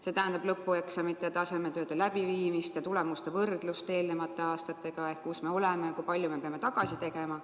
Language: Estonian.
See tähendab lõpueksamite-tasemetööde läbiviimist ja tulemuste võrdlust eelmiste aastate omadega ehk siis kindlaks tegemist, kus me oleme ja kui palju me peame tagasi tegema.